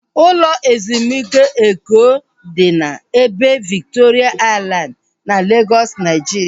Ụlọ ezumike Eko dị n'ebe Viktoria Aịlandị na Legọs, Naijiria